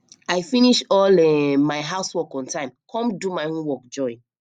i finish all um my house work on time come do my homework join